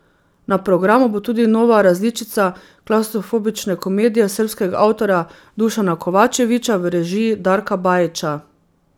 Na programu bo tudi nova različica Klavstrofobične komedije srbskega avtorja Dušana Kovačevića v režiji Darka Bajića.